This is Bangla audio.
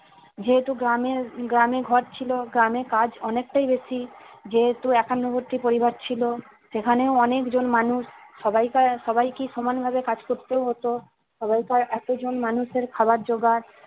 যেহেতু গ্রামের গ্রামে ঘর ছিল গ্রামে কাজ অনেকটাই বেশি যেহেতু একান্নবর্তী পরিবার ছিল সেখানেও অনেকজন মানুষ সবাইকে সবাইকে সমান ভাবে কাজ করতে হতো এতজন মানুষের খাবার জোগাড়